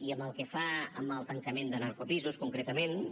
i pel que fa al tancament de narcopisos concretament